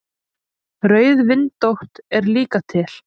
Rauðvindótt er líka til.